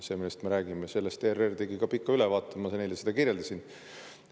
ERR tegi sellest ka pika ülevaate, ma seda kirjeldasin.